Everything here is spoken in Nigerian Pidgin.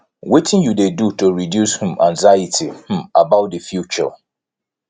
wetin you dey do to reduce um anxiety um about di future